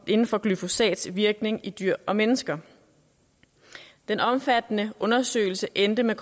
inden for glyfosats virkning i dyr og mennesker den omfattende undersøgelse endte med